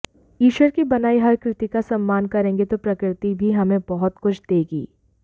ईश्वर की बनाई हर कृति का सम्मान करेंगे तो प्रकृति भी हमें बहुत कुछ देगी